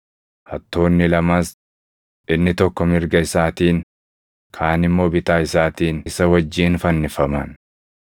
Hattoonni lamas, inni tokko mirga isaatiin, kaan immoo bitaa isaatiin isa wajjin fannifaman.